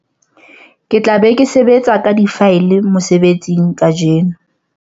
ke tla be ke sebetsa ka difaele mosebetsing kajeno